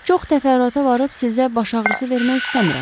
Çox təfərrüata varıb sizə baş ağrısı vermək istəmirəm.